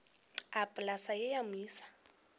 a polase ye ya moisa